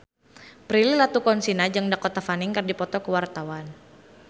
Prilly Latuconsina jeung Dakota Fanning keur dipoto ku wartawan